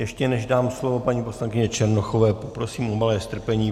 Ještě než dám slovo paní poslankyni Černochové, poprosím o malé strpení.